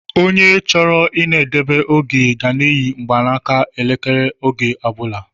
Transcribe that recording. Ònye chọrọ I na edebe oge ga eyi mgbaka elekere oge ọbula